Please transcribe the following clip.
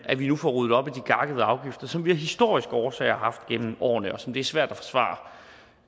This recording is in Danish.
at vi nu får ryddet op i de gakkede afgifter som vi af historiske årsager har haft igennem årene og som det er svært